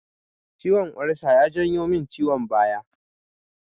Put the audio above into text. Ciwon ulsa ya janyo min ciwon baya